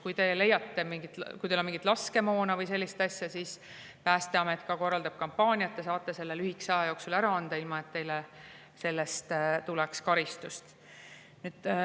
Kui te leiate, et teil on mingit laskemoona või sellist asja, siis Päästeameti kampaania saate te selle lühikese aja jooksul ära anda, ilma et teile selle eest karistust tuleks.